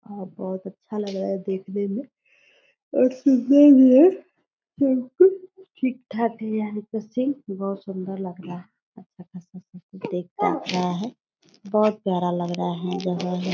और सब अच्छा लग रहा है देखने मे और सुंदर भी है सबककुछ ठीक-ठाक ही है ऊपर से बहोत सुन्दर लग रहा है देख रहा है बहोत प्यारा लग रहा है जगह है--